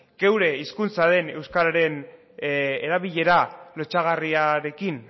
gure hizkuntzaren euskararen erabilera lotsagarriarekin